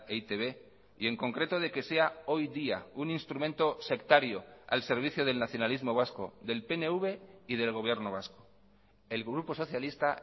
e i te be y en concreto de que sea hoy día un instrumento sectario al servicio del nacionalismo vasco del pnv y del gobierno vasco el grupo socialista